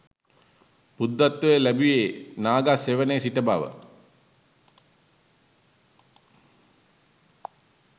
බුද්ධත්වය ලැබුයේ නා ගස් සෙවණේ සිට බව